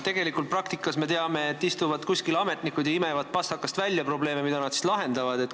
Tegelikult me teame praktikast, et kuskil istuvad ametnikud ja imevad pastakast välja probleeme, mida nad siis lahendavad.